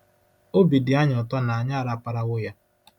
Obi dị anyị ụtọ na anyị araparawo ya!